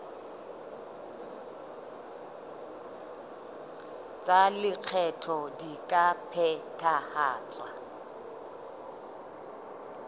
tsa lekgetho di ka phethahatswa